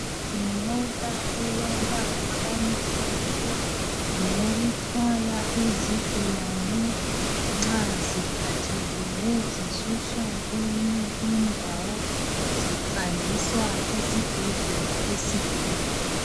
Yimota elombala omhlophe ngeyokuthwala izigulane nxa ziphathekile zisuswa kweyinye indawo zihanjiswa esibhedlela esikhulu